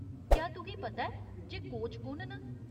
क्या तुगी पता ऐ जे कोच कु'न न ?